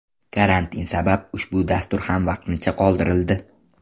Karantin sabab ushbu dastur ham vaqtincha qoldirildi.